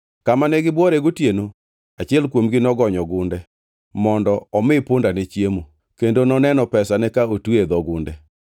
Kamane gibuore gotieno, achiel kuomgi nogonyo gunde mondo omi pundane chiemo, kendo noneno pesane ka otwe e dho ogunde.